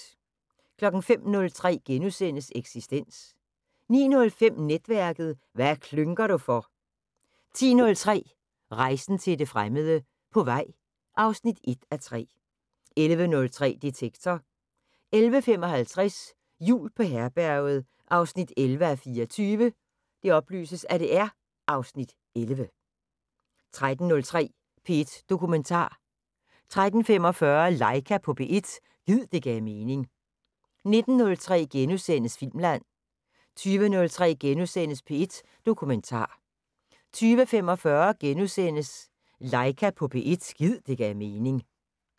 05:03: Eksistens * 09:05: Netværket: Hvad klynker du for? 10:03: Rejsen til det fremmede: På vej (1:3) 11:03: Detektor 11:55: Jul på Herberget 11:24 (Afs. 11) 13:03: P1 Dokumentar 13:45: Laika på P1 – gid det gav mening 19:03: Filmland * 20:03: P1 Dokumentar * 20:45: Laika på P1 – gid det gav mening *